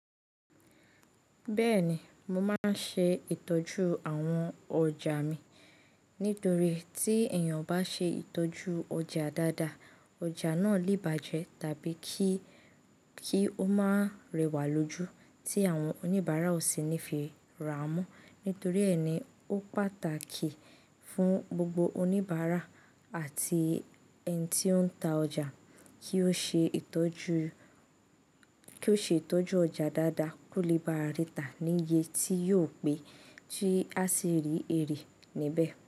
Bẹ́ẹ̀ni, mo máa ń ṣe ìtọ́jú àwọn ọjà mi. Nítorí tí èèyàn o bá ṣe ìtọ́jú ọjà dáadáa, ọjà náà lè bàjẹ́ tàbí kí, kí ó máa rẹwà lójú tí àwọn oníbàárà ò sì ní fi rà á mọ́. Nítorí ẹni, ó pàtàkì fún gbogbo oníbàárà àti ẹni tí ó ń ta ọjà kí ó ṣe ìtọ́jú, kí ó ṣe ìtọ́jú ọjà dáadáa kó lè bá a ríta níye tí yóò pé tí a sì rí erì níbẹ̀.